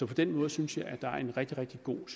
på den måde synes jeg at der er en rigtig rigtig god